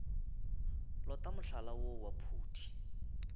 lota mohlala woo wa phuti